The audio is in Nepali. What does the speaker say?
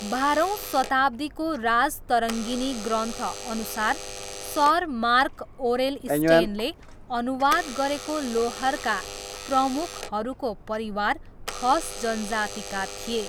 बाह्रौँ शताब्दीको राजतरङ्गिनी ग्रन्थअनुसार सर मार्क ओरेल स्टेनले अनुवाद गरेको लोहरका प्रमुखहरूको परिवार खस जनजातिका थिए।